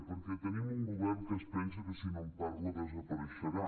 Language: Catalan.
perquè tenim un govern que es pensa que si no en parla desapareixerà